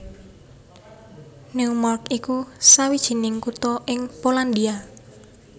Neumark iku sawijining kutha ing Polandia